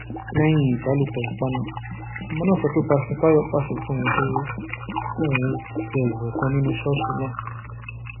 lẹyìn ìbálòpọ ipa náà ọmọ náà sọ pé pásítọ táyọ pàṣẹ fóun pé kóun wé ìwé kan nínú ṣọọṣì náà